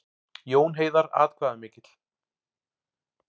Jón Heiðar atkvæðamikill